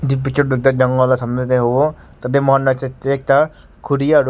Etu picture wala samnae dae ahivo tatey side tae ekta khuri aro--